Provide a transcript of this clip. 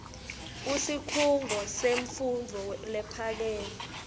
kusikhungo semfundvo lephakeme